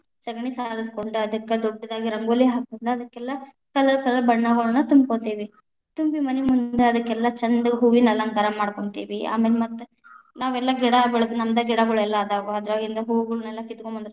ಸಗಣಿ ಸಾರಸ್ ಕೊಂಡ ಅದಕ್ಕ ದೊಡ್ಡದಾಗಿ ರಂಗೋಲಿ ಹಾಕೊಂಡ ಅದಕ್ಕೆಲ್ಲಾ, colour, colour ಬಣ್ಣಗಳನ್ನ ತುಂಬಕೊತೀವಿ, ತುಂಬಿ ಮನಿ ಮುಂದ ಅದಕ್ಕೆಲ್ಲಾ ಛಂದಗ ಹೂವಿನ ಅಲಂಕಾರ ಮಾಡ್ಕೋಂತೀವಿ, ಆಮೇಲ್‌ ಮತ್ತ್‌ ನಾವೆಲ್ಲಾ ಗಿಡ ಬೆಳೆದು ನಮ್ದ್‌ ಗಿಡಾಗಳೆಲ್ಲಾ ಅದಾವ ಅದರಾಗಿಂದ್‌ ಹೂಗಳ್ನೆಲ್ಲಾ ಕಿತ್ಗೊಂಡ ಬಂದಿತೇ೯ವಿ.